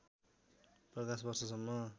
प्रकाश वर्षसम्म